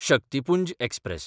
Shaktipunj express